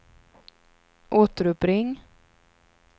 återuppring